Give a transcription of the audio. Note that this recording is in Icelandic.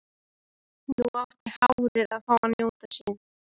Nú átti hárið að fá að njóta sín.